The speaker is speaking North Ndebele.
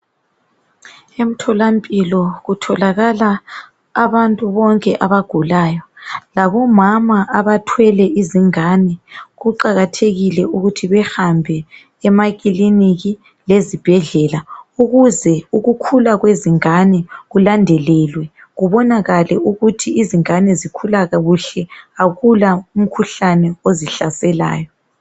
Emtholampilo kutholakala abantu bonke abagulayo labomama abathwele izingane kuqakathekile ukuthi bahambe emakiliniki lezibhedlela ukuze ukhula kwezingane kulandelelwe kubonakale ukuthi izingane zikhula kuhle kakula umkhuhlane ozihlaselwayo.